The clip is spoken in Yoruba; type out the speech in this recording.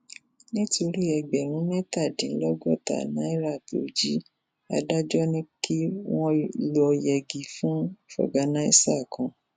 nítorí ẹgbẹrún mẹtàdínlọgọta náírà tó jí adájọ ti ní kí wọn lọọ yẹgi fún fọgànáísà kan